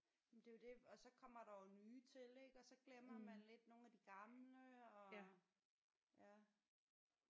Men det er jo det og så kommer der jo nye til ik og så glemmer man lidt nogle af de gamle og ja